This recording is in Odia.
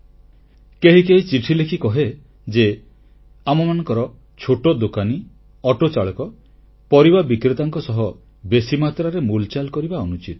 କେହି କେହି ଚିଠି ଲେଖି କହେ ଯେ ଆମମାନଙ୍କର ଛୋଟ ଦୋକାନୀ ଅଟୋ ଚାଳକ ପରିବା ବିକ୍ରେତାଙ୍କ ସହ ବେଶୀ ମାତ୍ରାରେ ମୂଲଚାଲ କରିବା ଅନୁଚିତ